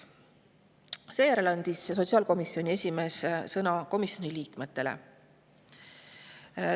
Seejärel andis sotsiaalkomisjoni esimees sõna komisjoni liikmetele.